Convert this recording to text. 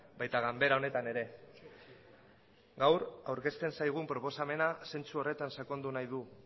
baita ganbera honetan ere gaur aurkezten zaigun proposamena zentzu horretan sakondu nahi du